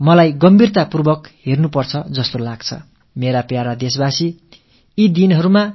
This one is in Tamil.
ஆனால் இதுபற்றி கவனம் செலுத்த வேண்டிய தருணம் இப்போது ஏற்பட்டிருக்கிறது